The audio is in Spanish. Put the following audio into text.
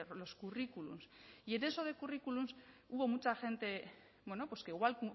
los currículums y en eso de currículums hubo mucha gente bueno pues que igual